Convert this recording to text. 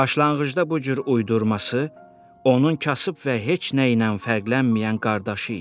Başlanğıcda bu cür uydurması onun kasıb və heç nəylə fərqlənməyən qardaşı idi.